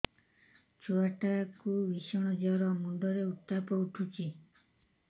ଛୁଆ ଟା କୁ ଭିଷଣ ଜର ମୁଣ୍ଡ ରେ ଉତ୍ତାପ ଉଠୁଛି